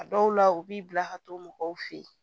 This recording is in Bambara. A dɔw la u b'i bila ka to mɔgɔw fe yen